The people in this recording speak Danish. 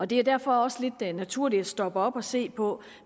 det er derfor også lidt naturligt at stoppe op og se på